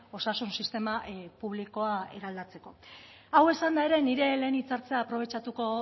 osasun sistema publikoa eraldatzeko hau esanda ere nire lehen hitzartzat aprobetxatuko